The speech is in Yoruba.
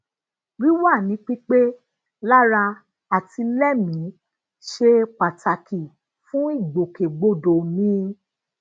wiwa ni pipe lara ati lẹmii se pataki fun igbokegbodo mi